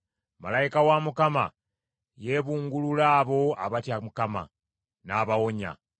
Malayika wa Mukama yeebungulula abo abatya Mukama , n’abawonya.